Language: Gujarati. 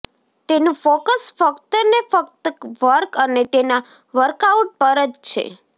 તેનું ફોકસ ફક્તને ફક્ત વર્ક અને તેના વર્કઆઉટ્સ પર જ છે